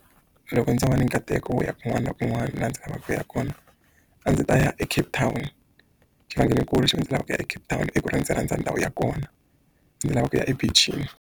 Loko ndzo va ni nkateko wo ya kun'wana na kun'wana laha ndzi lavaka ku ya kona a ndzi ta ya eCape Town xivangelonkulu xo ndzi lavaka ku ya eCape Town i ku ri ndzi rhandza ndhawu ya kona ndzi lava ku ya ebeach-ini.